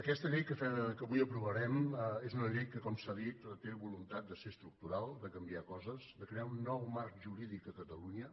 aquesta llei que avui aprovarem és una llei que com s’ha dit té voluntat de ser estructural de canviar coses de crear un nou marc jurídic a catalunya